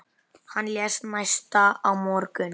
Hann lést næsta morgun.